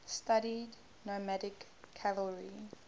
studied nomadic cavalry